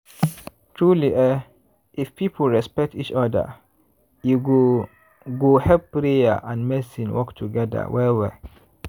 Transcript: truely eeh if people respect each oda e go go help prayer and medicine work togeda well well.